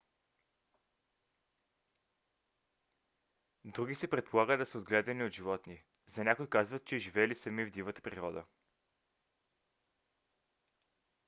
други се предполага да са отгледани от животни; за някои казват че живели сами в дивата природа